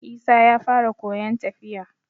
Isa ya fara koyon tafiya